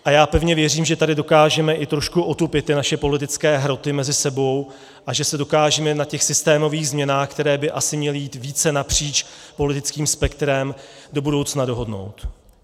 A já pevně věřím, že tady dokážeme i trošku otupit ty naše politické hroty mezi sebou a že se dokážeme na těch systémových změnách, které by asi měly jít více napříč politickým spektrem, do budoucna dohodnout.